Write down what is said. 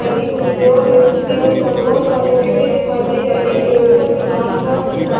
लगी हुई है और सारे पेड़े दिखाई दे रहे है ऊपर नीला आसमान दिख रा--